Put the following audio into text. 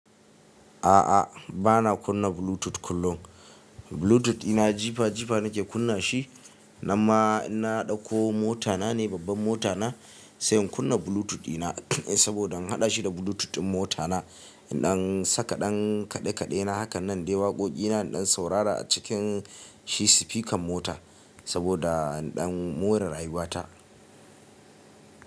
A'a, ba na kunna Bluetooth kullum. Bluetooth ina jifa jifa nake kunna shi, na ma ina dauko ko mota na ne babban mota na, sai in kunna Bluetooth dina saboda in haɗa shi da Bluetooth ɗin mota na, in ɗan saka ɗan kaɗe kaɗe na hakan nan dai waƙoƙi na in ɗan saurara a cikin shi sifikan mota saboda in ɗan more rayuwa ta.